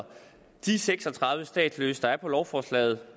de seks og tredive statsløse der er på lovforslaget